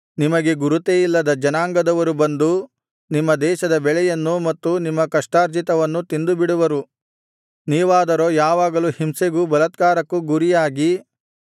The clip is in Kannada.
ನಿಮಗೆ ಗುರುತೇ ಇಲ್ಲದ ಜನಾಂಗದವರು ಬಂದು ನಿಮ್ಮ ದೇಶದ ಬೆಳೆಯನ್ನೂ ಮತ್ತು ನಿಮ್ಮ ಕಷ್ಟಾರ್ಜಿತವನ್ನೂ ತಿಂದುಬಿಡುವರು ನೀವಾದರೋ ಯಾವಾಗಲೂ ಹಿಂಸೆಗೂ ಬಲಾತ್ಕಾರಕ್ಕೂ ಗುರಿಯಾಗಿ